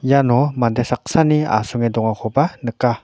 iano mande saksani asonge dongakoba nika.